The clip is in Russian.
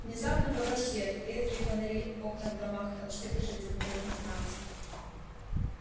внезапно погас свет редкие фонари окна в домах отсветы железнодорожной станции